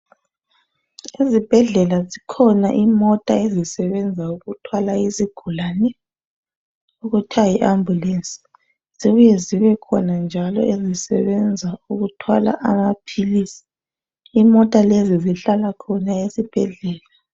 Ezibhedlela zikhona izimota ezithwala izigulane ezibizwa ngokuthi ngama Ambulance. Zikhona njalo ezithwala amaphilisi, njalo lezo zimota zihlala khona ezibhedlela.